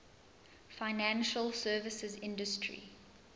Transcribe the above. financial services industry